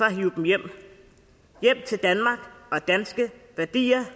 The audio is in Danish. at hive dem hjem hjem til danmark og danske værdier